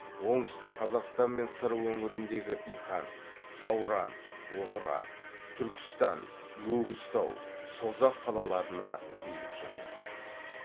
оңтүстік қазақстан мен сыр өңіріндегі иқан сауран отырар түркістан өгізтау созақ қалаларына билік жүргізді